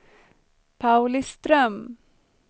Pauliström